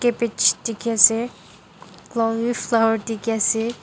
pad sheet dekhe ase conleflower dekhe ase.